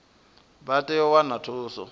vha tea u wana thuso